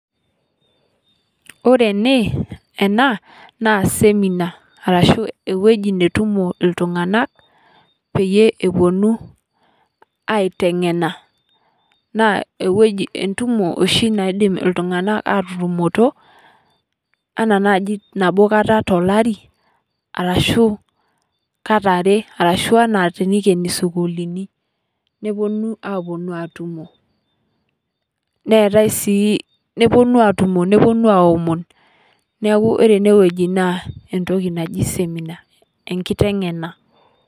Ore enee ena naa seminar arashu ewueji netumoo ltung'anak peeye eponuu aiteng'ena. Naa ewueji entumoo shii naidiim ltung'ana atutumotoo anaa najii naboo nkaata to laari, arashu kaata are arashu ana tenekeeni sukuulini. Nepoonu aponuu atumoo neetai sii. Neponuu atumoo neponuu aoomon. Naaku ore enewueji naa ntooki najii seminar enkiteng'enaa.